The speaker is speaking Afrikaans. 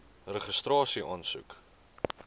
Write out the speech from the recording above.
registrasieaansoek